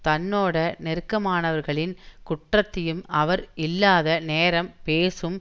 தன்னோட நெருக்கமானவர்களின் குற்றத்தையும் அவர் இல்லாத நேரம் பேசும்